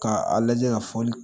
K'a lajɛ ka fɔli